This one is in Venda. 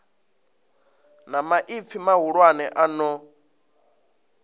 na maipfi mahulwane a no